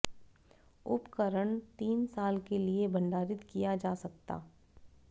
उपकरण तीन साल के लिए भंडारित किया जा सकता